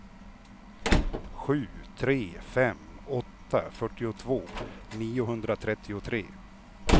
sju tre fem åtta fyrtiotvå niohundratrettiotre